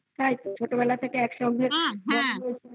হ্যা তাইতো ছোটবেলা থেকে একসঙ্গে বড় হয়েছ